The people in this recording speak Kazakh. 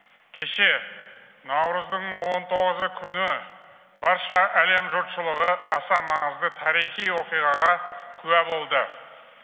кеше наурыздың он тоғызы күні барша әлем жұртшылығы аса маңызды тарихи оқиғаға куә болды